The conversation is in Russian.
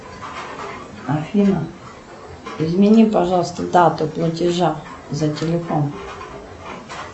афина измени пожалуйста дату платежа за телефон